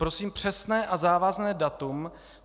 Prosím přesné a závazné datum.